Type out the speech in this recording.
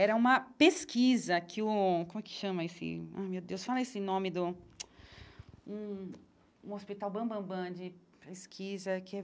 Era uma pesquisa que o... Como é que chama esse... Ai, meu Deus, fala esse nome do... Um um hospital bambambã de pesquisa que é...